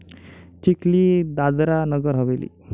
Chikhli, Dadra Nagar Haveli